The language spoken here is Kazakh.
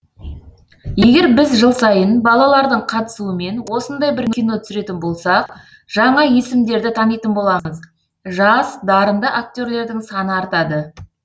егер біз жыл сайын балалардың қатысуымен осындай бір кино түсіретін болсақ жаңа есімдерді танитын боламыз жас дарынды актерлердің саны артады